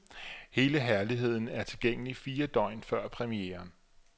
Hele herligheden er tilgængelig fire dage før premieren.